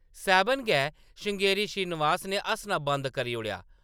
"सैह्‌‌‌बन गै, श्रृंगेरी श्रीनिवास ने हस्सना बंद करी ओड़ेआ ।